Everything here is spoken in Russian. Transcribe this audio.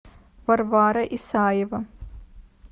варвара исаева